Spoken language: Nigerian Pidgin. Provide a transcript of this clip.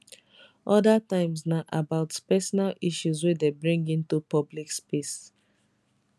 oda times na about personal issues wey dem bring into public space